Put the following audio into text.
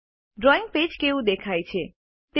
drawing કેવું દેખાય છે160